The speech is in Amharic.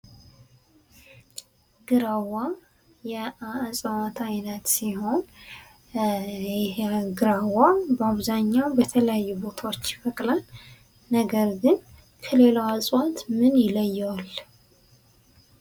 ግራ እፅዋት አይነት ሲሆን ይሄው ግራ ብዛኛው በተለያዩ ቦታዎች ይበቅላል ነገር ግን ከሌላው እጽዋት ይለየዋል?